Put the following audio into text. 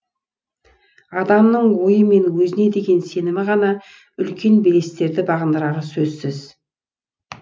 адамның ойы мен өзіне деген сенімі ғана үлкен белестерді бағындырары сөзсіз